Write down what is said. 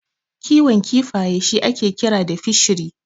Kiwon kifaye shi ake kira da Fishery.